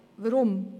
Weshalb dies?